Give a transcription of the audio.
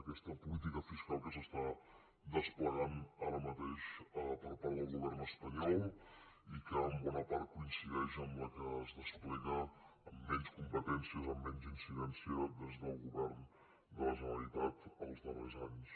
aquesta política fiscal que s’està desplegant ara mateix per part del govern espanyol i que en bona part coincideix amb la que es desplega amb menys competències amb menys incidència des del govern de la generalitat els darrers anys